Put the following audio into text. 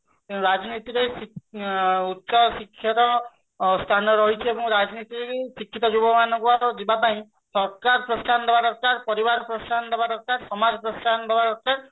ରାଜନୀତିରେ ଉଚ୍ଚ ଶିକ୍ଷାର ସ୍ଥାନ ରହିଛି ଆଏବମ୍ଗ ରାଜନୀତିରେ ଶିକ୍ଷିତ ଯୁବକ ମାନଙ୍କୁ ଯିବା ପାଇଁ ସରକାର ପ୍ରୋସାହନ ଦବା ଦରକାର ପରିବାର ପ୍ରୋସାହନ ଦବା ଦରକାର ସମାଜ ପ୍ରୋସାହନ ଦବା ଦରକାର